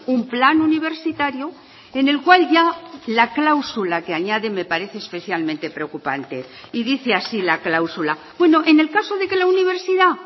un plan universitario en el cual ya la cláusula que añade me parece especialmente preocupante y dice así la cláusula bueno en el caso de que la universidad